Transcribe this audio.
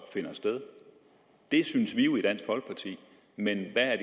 finder sted det synes vi jo i dansk folkeparti men hvad